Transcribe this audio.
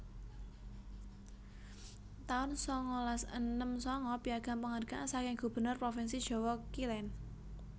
taun sangalas enem sanga Piagam Penghargaan saking Gubernur Provinsi Jawa Kilen